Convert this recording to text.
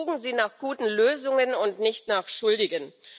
Suchen Sie nach guten Lösungen und nicht nach Schuldigen!